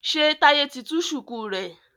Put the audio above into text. ṣe Taiye tí tú shuku rẹ?